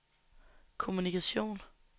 kommunikation